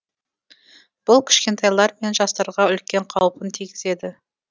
бұл кішкентайлар мен жастарға үлкен қаупін тигізеді